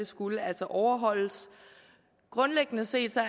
skulle overholdes grundlæggende set er